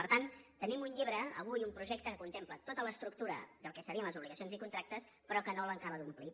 per tant tenim un llibre avui un projecte que contempla tota l’estructura del que serien les obligacions i contractes però que no l’acaba d’omplir